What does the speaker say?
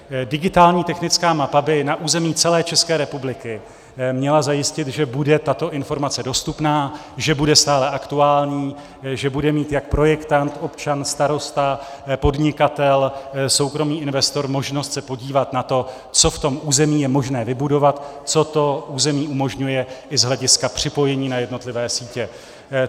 Digitální technická mapa by na území celé České republiky měla zajistit, že bude tato informace dostupná, že bude stále aktuální, že bude mít jak projektant, občan, starosta, podnikatel, soukromý investor možnost se podívat na to, co v tom území je možné vybudovat, co to území umožňuje i z hlediska připojení na jednotlivé sítě.